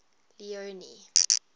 leone